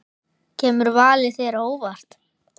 Kemur valið þér á óvart?